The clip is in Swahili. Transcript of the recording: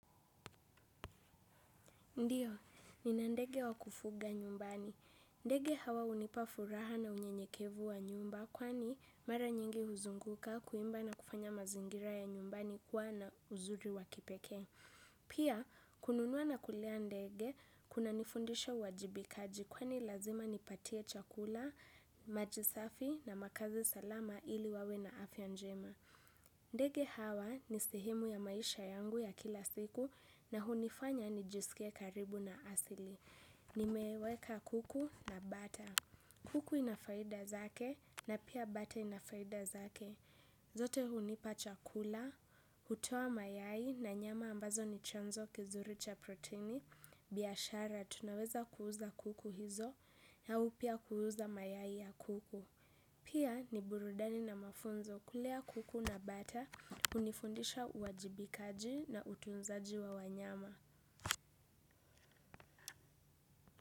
Ndiyo, nina ndege wa kufuga nyumbani. Ndege hawa hunipa furaha na unyenyekevu wa nyumba kwani mara nyingi huzunguka kuimba na kufanya mazingira ya nyumbani kuwa na uzuri wa kipekee. Pia, kununua na kulea ndege, kunanifundisha uwajibikaji kwani lazima nipatie chakula, maji safi na makazi salama ili wawe na afya njema. Ndege hawa ni sehemu ya maisha yangu ya kila siku na hunifanya nijisike karibu na asili. Nimeweka kuku na bata. Kuku ina faida zake na pia bata ina faida zake. Zote hunipa chakula, hutoa mayai na nyama ambazo ni chanzo kizuri cha proteini. Biashara tunaweza kuuza kuku hizo au pia kuuza mayai ya kuku. Pia ni burudani na mafunzo kulea kuku na bata, hunifundisha uajibikaji na utunzaji wa wanyama.